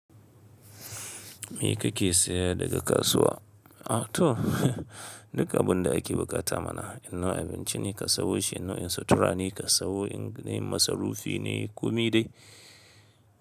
Me kake saya daga kasuwa? A to, duk abun da ake buƙata mana. In nau' abinci ne ka sawo shi, in nau'in sutura ne ka sawo, in dai masarufi ne, kome dai.